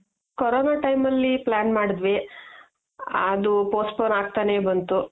Corona time ಅಲ್ಲಿ plan ಮಾಡಿದ್ವಿ ಅದು postpone ಆಗ್ತಾನೆ ಬಂತು .